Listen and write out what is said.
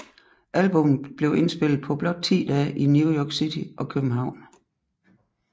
Albummet blev indspillet på blot ti dage i New York City og København